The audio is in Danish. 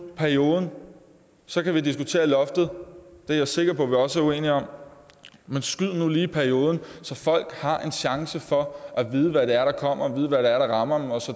perioden så kan vi diskutere loftet det er jeg sikker på vi også er uenige om men skyd nu lige perioden så folk har en chance for at vide hvad det er der kommer og vide hvad der er der rammer